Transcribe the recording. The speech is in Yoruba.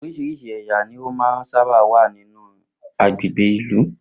Orís̩irís̩i è̩yà ní ó máa sábà ń wà nínú agbègbè ìlú